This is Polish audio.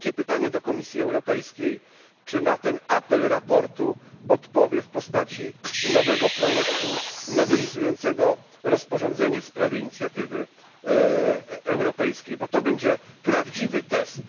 I wielkie pytanie do Komisji Europejskiej czy na ten apel zawarty w sprawozdaniu odpowie w postaci nowego projektu nowelizującego rozporządzenie w sprawie inicjatywy europejskiej, gdyż będzie to prawdziwy test?